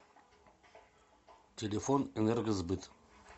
телефон энергосбыт